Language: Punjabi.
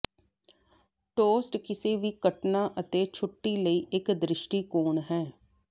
ਟੋਸਟ ਕਿਸੇ ਵੀ ਘਟਨਾ ਅਤੇ ਛੁੱਟੀ ਲਈ ਇੱਕ ਦ੍ਰਿਸ਼ਟੀਕੋਣ ਹੈ